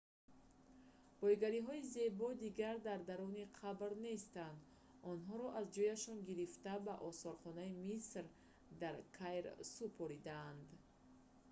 боигариҳои зебо дигар дар даруни қабр нестанд онҳоро аз ҷояшон гирифта ба осорхонаи миср дар каир супоридаанд